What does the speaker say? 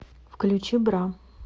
включи бра